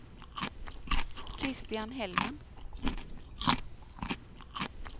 Christian Hellman